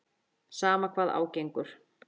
Sama hvað á gengur.